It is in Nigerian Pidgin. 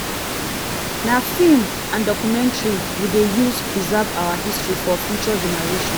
na film and documentary we dey use preserve our history for future generation.